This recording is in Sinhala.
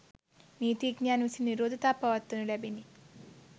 නීතිඥයන් විසින් විරෝධතා පවත්වනු ලැබිණි